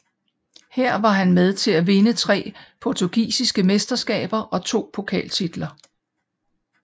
Her var han med til at vinde tre portugisiske mesterskaber og to pokaltitler